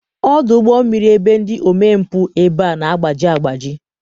ọdụ ụgbọ mmiri ebe ndị omempụ ebe a na-agbaji agbaji